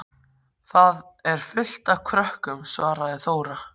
Þar er fullt af krökkum, svaraði Þóra.